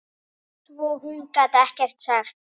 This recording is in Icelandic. Svo hún gat ekkert sagt.